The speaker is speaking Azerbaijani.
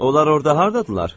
Onlar orada hardadırlar?